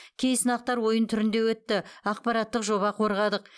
кей сынақтар ойын түрінде өтті ақпараттық жоба қорғадық